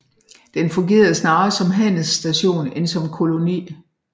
Den fungerede snarere som handelsstation end som koloni